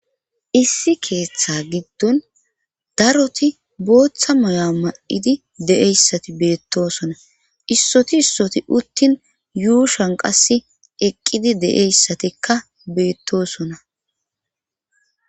Issi keeththa giddon daroti booththa moya ma7idi de7eyssati beettosona issoti issoti uttin yuushan qasse eqqidi de7eyssatikka beettosona